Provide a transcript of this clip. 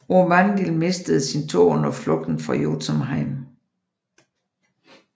Aurvandil mistede sin tå under flugten fra Jotunheim